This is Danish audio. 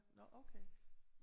Nåh okay